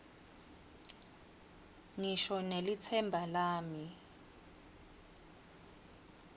ngisho nelitsemba lami